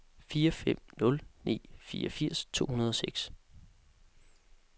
fire fem nul ni fireogfirs to hundrede og seks